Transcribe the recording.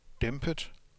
dæmpet